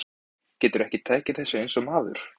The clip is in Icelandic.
Geturðu ekki tekið þessu eins og maður?